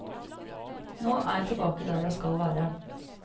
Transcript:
Nå er jeg tilbake der jeg skal være.